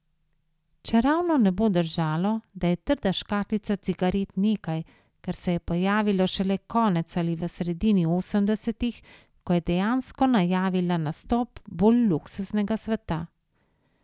Čeravno ne bo držalo, da je trda škatlica cigaret nekaj, kar se je pojavilo šele konec ali v sredini osemdesetih, ko je dejansko najavila nastop bolj luksuznega sveta.